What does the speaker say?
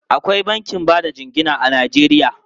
Akwai bankin ba da jingina a Najeriya.